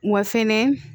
Wa fɛnɛ